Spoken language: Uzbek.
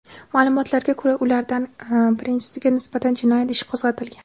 Ma’lumotlarga ko‘ra, ulardan birinchisiga nisbatan jinoyat ishi qo‘zg‘atilgan.